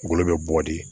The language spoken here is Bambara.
Golo be bɔ di